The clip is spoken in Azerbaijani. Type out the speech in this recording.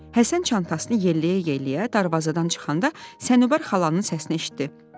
Həsən çantasını yelləyə-yelləyə darvazadan çıxanda Sənubər xalanın səsini eşitdi.